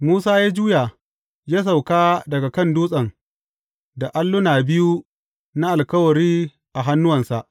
Musa ya juya, ya sauka daga kan dutsen da alluna biyu na Alkawari a hannuwansa.